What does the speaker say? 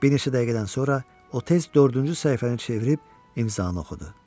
Bir neçə dəqiqədən sonra o tez dördüncü səhifəni çevirib imzanı oxudu.